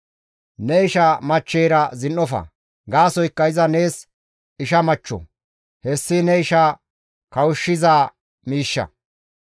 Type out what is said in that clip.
Ne isha machcheyra zin7ofa; gaasoykka iza nees isha machcho; hessi ne isha kawushshiza miishsha.